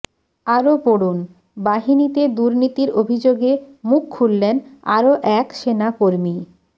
আরও পড়ুন বাহিনীতে দুর্নীতির অভিযোগে মুখ খুললেন আরও এক সেনাকর্মী